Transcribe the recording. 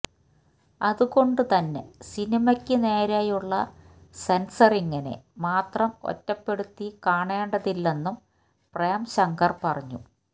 അത് കൊണ്ട് തന്നെ സിനിമയ്ക്ക് നേരെയുള്ള സെന്സറിങ്ങിനെ മാത്രം ഒറ്റപ്പെടുത്തി കാണേണ്ടതില്ലെന്നും പ്രേംശങ്കര് പറഞ്ഞു